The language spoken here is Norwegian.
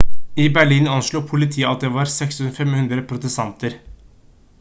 i berlin anslo politiet at det var 6 500 protestanter